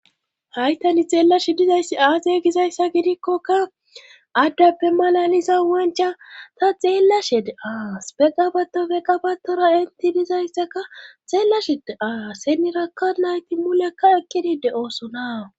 Haytani xeellashi dizayssi aaze gizayssa gidikkoka addappe malaliza wancha ta xeella shede-aas pegqabatofe qabatora inti dizayssaka xeella shede7aa senirakka nayti mulekka ekkidide oosona